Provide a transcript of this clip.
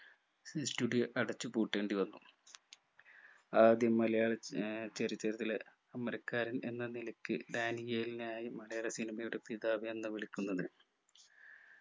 studio അടച്ചുപൂട്ടേണ്ടി വന്നു ആദ്യം മലയാളം ഏർ ചരിത്രത്തിലെ അമരക്കാരൻ എന്ന നിലയ്ക്ക് ഡാനിയേൽ നെയായി മലയാള cinema യുടെ പിതാവ് എന്ന് വിളിക്കുന്നത്